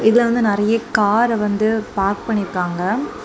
இதுல வந்து நெறைய கார வந்து பார்க் பண்ணிருக்காங்க.